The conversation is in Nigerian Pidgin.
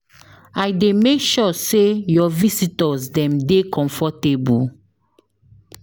I dey make sure sey your visitors dem dey comfortable.